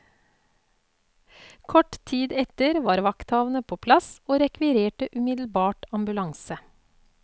Kort tid etter var vakthavende på plass, og rekvirerte umiddelbart ambulanse.